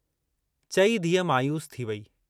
चई धीअ मायूस थी वेई।